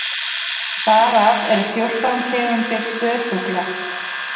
þar af eru fjórtán tegundir spörfugla